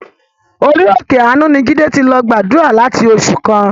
Orí òkè àánú ni Jídé ti lọ gbàdúrà láti oṣù kan.